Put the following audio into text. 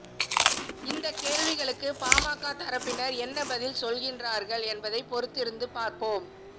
இந்த கேள்விகளுக்கு பாமக தரப்பினர் என்ன பதில் சொல்கின்றார்கள் என்பதை பொறுத்திருந்து பார்ப்போம்